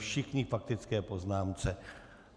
Všichni k faktické poznámce.